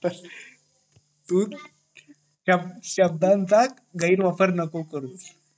या शब्दा चा गैरवापर नको करू